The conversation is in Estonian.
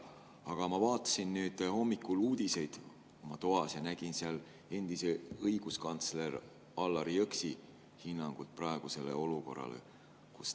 Aga ma vaatasin hommikul oma toas uudiseid ja nägin seal endise õiguskantsleri Allar Jõksi hinnangut praegusele olukorrale.